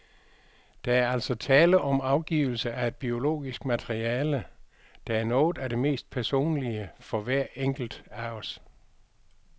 Der er altså tale om afgivelse af et biologisk materiale, der er noget af det mest personlige for hver enkelt af os.